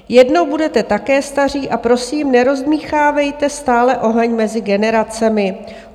- Jednou budete také staří a prosím, nerozdmýchávejte stále oheň mezi generacemi.